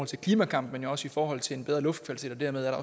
til klimakampen men også i forhold til en bedre luftkvalitet og dermed er